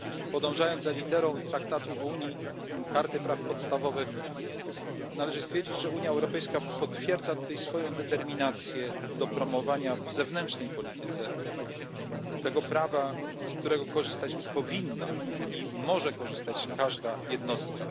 Podążając za literą Traktatu o Unii Europejskiej i Karty praw podstawowych, należy stwierdzić, że Unia Europejska potwierdza swoją determinację w promowaniu w zewnętrznej polityce tego prawa, z którego może i powinna korzystać każda jednostka.